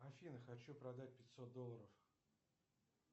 афина хочу продать пятьсот долларов